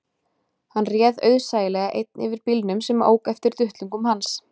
Hann réð auðsæilega einn yfir bílnum sem ók eftir duttlungum hans